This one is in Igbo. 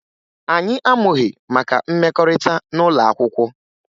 Anyị amụghị maka mmekọrịta n'ụlọ akwụkwọ